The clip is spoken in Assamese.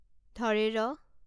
ঢ়